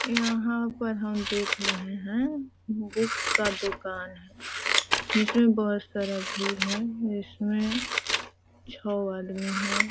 यहाँ पर हम देख रहें है बुक का दुकान है जिसमे बहुत सारा भीड़ है छे आदमी है।